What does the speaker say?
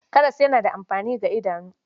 Karas yana da amfani ga idanu.